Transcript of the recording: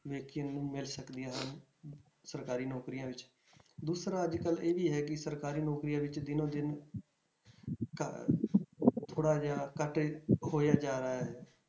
ਵਿਅਕਤੀਆਂ ਨੂੰ ਮਿਲ ਸਕਦੀਆਂ ਹਨ ਸਰਕਾਰੀ ਨੌਕਰੀਆਂ ਵਿੱਚ, ਦੂਸਰਾ ਅੱਜ ਕੱਲ੍ਹ ਇਹ ਹੈ ਕਿ ਸਰਕਾਰੀ ਨੌਕਰੀਆਂ ਵਿੱਚ ਦਿਨੋ ਦਿਨ ਘ~ ਥੋੜ੍ਹਾ ਜਿਹਾ ਘੱਟ ਹੋਇਆ ਜਾ ਰਿਹਾ ਹੈ।